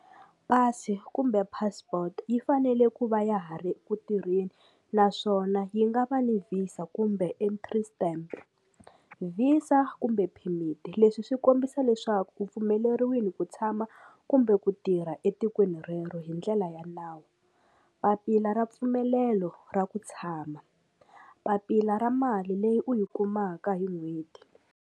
Pasi kumbe passport yi fanele ku va ya ha ri kutirheni naswona yi nga va ni VISA kumbe entry stamp VISA kumbe phemiti leswi swi kombisa leswaku u pfumeleriwile ku tshama kumbe ku tirha etikweni rero hi ndlela ya nawu papila ra mpfumelelo ra ku tshama papila ra mali leyi u yi kumaka hi n'hweti.